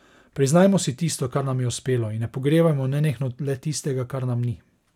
Priznajmo si tisto, kar nam je uspelo, in ne pogrevajmo nenehno le tistega, kar nam ni.